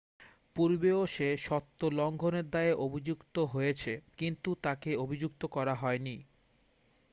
পূর্বেও সে সত্ব লংঘনের দায়ে অভিযুক্ত হয়েছে কিন্তু তাকে অভিযুক্ত করা হয়নি